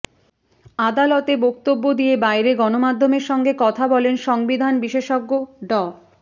আদালতে বক্তব্য দিয়ে বাইরে গণমাধ্যমের সঙ্গে কথা বলেন সংবিধান বিশেষজ্ঞ ড